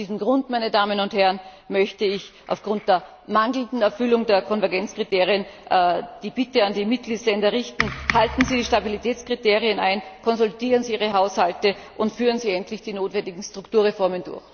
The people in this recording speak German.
Aus diesem Grund, meine Damen und Herren, möchte ich aufgrund der mangelnden Erfüllung der Konvergenzkriterien die Bitte an die Mitgliedsländer richten Halten Sie die Stabilitätskriterien ein, konsolidieren Sie Ihre Haushalte, und führen Sie endlich die notwendigen Strukturreformen durch!